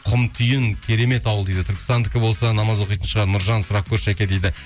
кұмтүйін керемет ауыл дейді түркістандікі болса намаз оқитын шығар нұржан сұрап көрші жәке дейді